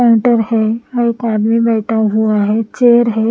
Counter है वह एक आदमी बैठा हुआ है चेयर है ।